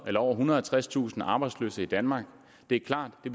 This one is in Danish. over ethundrede og tredstusind arbejdsløse i danmark og det er klart at